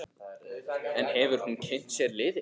En hefur hún kynnt sér liðið?